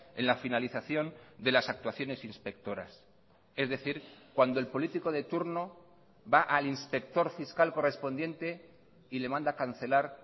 en la finalización de las actuaciones inspectoras es decir cuando el político de turno va al inspector fiscal correspondiente y le manda cancelar